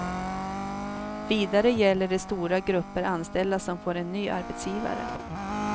Vidare gäller det stora grupper anställda som får en ny arbetsgivare.